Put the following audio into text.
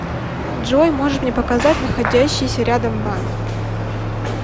джой можешь мне показать находящийся рядом банк